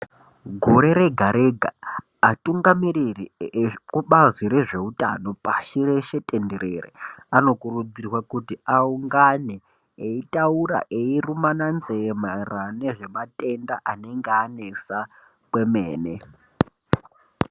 Gore rega-rega atungamiriri ekubazi rezveutano pashi reshe tenderere anokurudzirwa kuti aungane eitaura eirumana nzeve maererano nezvematenda anenge anesa kwemene.